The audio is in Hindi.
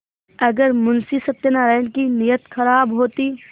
अगर मुंशी सत्यनाराण की नीयत खराब होती